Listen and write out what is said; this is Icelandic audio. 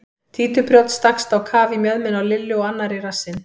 Títuprjónn stakkst á kaf í mjöðmina á Lillu og annar í rassinn.